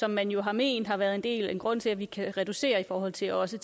som man jo har ment har været en grund til at vi kan reducere i forhold til også